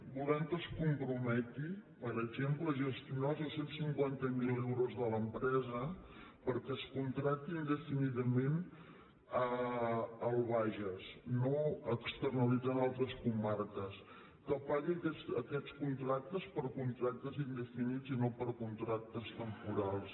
volem que es comprometi per exemple a gestionar els dos cents i cinquanta miler euros de l’em·presa perquè es contracti indefinidament al bages no externalitzant a altres comarques que pagui aquests contractes per contractes indefinits i no per contractes temporals